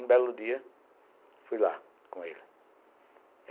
Um belo dia, fui lá com ele.